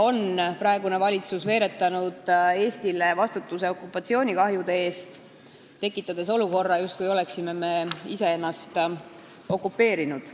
Praegune valitsus on veeretanud Eestile vastutuse okupatsioonikahjude eest, tekitades mulje, justkui me oleksime ise ennast okupeerinud.